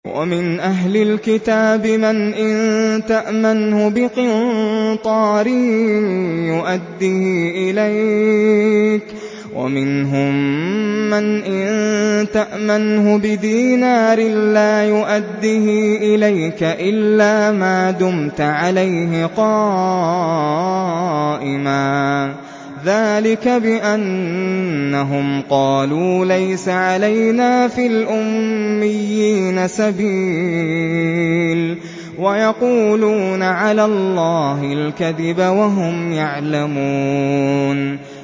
۞ وَمِنْ أَهْلِ الْكِتَابِ مَنْ إِن تَأْمَنْهُ بِقِنطَارٍ يُؤَدِّهِ إِلَيْكَ وَمِنْهُم مَّنْ إِن تَأْمَنْهُ بِدِينَارٍ لَّا يُؤَدِّهِ إِلَيْكَ إِلَّا مَا دُمْتَ عَلَيْهِ قَائِمًا ۗ ذَٰلِكَ بِأَنَّهُمْ قَالُوا لَيْسَ عَلَيْنَا فِي الْأُمِّيِّينَ سَبِيلٌ وَيَقُولُونَ عَلَى اللَّهِ الْكَذِبَ وَهُمْ يَعْلَمُونَ